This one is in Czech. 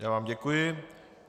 Já vám děkuji.